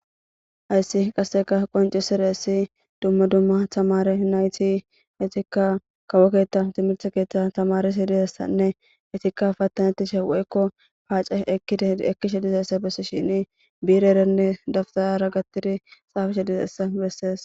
Hayssi qasseka qonccisizayssi dumma dumma tamaare nayti etika kawo keeta timirte keetan tamaarishe de7iyaysanne etika patanetishe woyko paace ekishe dizaysa beses shini biirerenne daftara gaththidi xaafishe dizayssa besees.